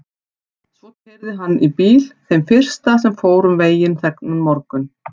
Svo heyrði hann í bíl, þeim fyrsta sem fór um veginn þennan morgun.